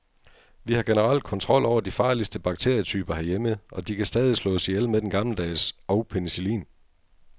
Vi har generelt kontrol over de farligste bakterietyper herhjemme, og de kan stadig slås ihjel med den gammeldags og penicillin.